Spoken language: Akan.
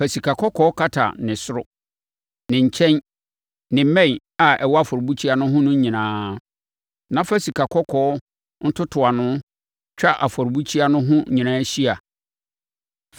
Fa sikakɔkɔɔ kata ne soro, ne nkyɛn ne mmɛn a ɛwɔ afɔrebukyia no ho no nyinaa. Na fa sikakɔkɔɔ ntotoano twa afɔrebukyia no ho nyinaa hyia.